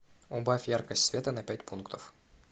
убавь яркость света на пять пунктов